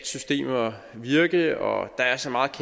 systemer virke og at der er så meget